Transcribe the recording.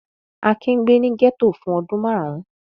Akin gbé ní gẹ́tò fún ọdún márùn-ún.